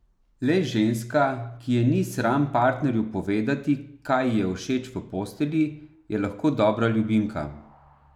Le ženska, ki je ni sram partnerju povedati, kaj ji je všeč v postelji, je lahko dobra ljubimka.